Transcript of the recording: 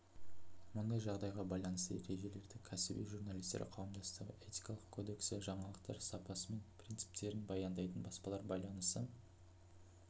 мұндай жағдайға байланысты ережелерді ксіби журналистер қауымдастығы этикалық кодексі жаңалықтар сапасы мен принциптерін баяндайтын баспалар байланысы